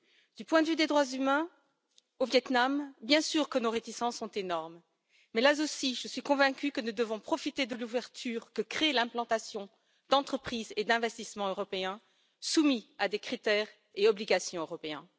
Du point de vue des droits humains au Viêt Nam, bien sûr que nos réticences sont énormes, mais là aussi, je suis convaincue que nous devons profiter de l'ouverture que crée l'implantation d'entreprises et d'investissements européens soumis à des critères et obligations européens.